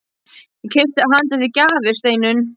Ég keypti handa þér gjafir, Steinunn.